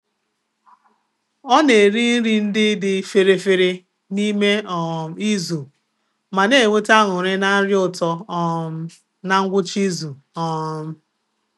Ọ na-eri nri ndị dị fere fere n'ime um izu ma na-enweta aṅuri na nri ụtọ um na ngwụcha izu. um